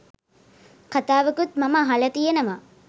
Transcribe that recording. කතාවකුත් මම අහල තියෙනවා